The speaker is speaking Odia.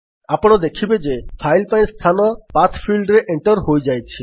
ଆପଣ ଦେଖିବେ ଯେ ଫାଇଲ୍ ପାଇଁ ସ୍ଥାନ ପାଠ ଫିଲ୍ଡରେ ଏଣ୍ଟର୍ ହୋଇଯାଇଛି